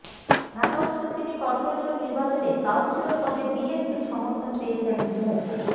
ঢাকা উত্তর city corporation নির্বাচনে councillor পদে বিএনপির সমর্থন পেয়েছেন মো